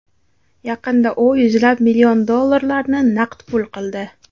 Yaqinda u yuzlab million dollarlarni naqd pul qildi.